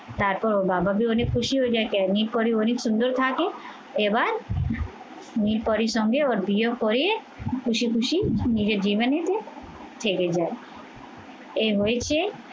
তারপর ওর বাবা অনেক খুশি হয়ে যায় অনেক সুন্দর থাকে এবার নীল পরীর সঙ্গে ওর বিয়ে করিয়ে খুশি খুশি নিজের থেকে যায় এ হয়েছে